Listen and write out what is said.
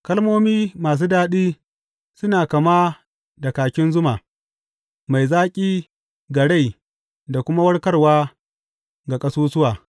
Kalmomi masu daɗi suna kama da kakin zuma, mai zaƙi ga rai da kuma warkarwa ga ƙasusuwa.